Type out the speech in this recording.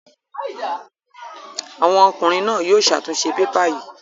Àwọn ọkùnrin náà yóò ṣàtúnṣe pépà yìí.